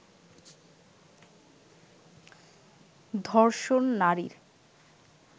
ধর্ষণ নারীর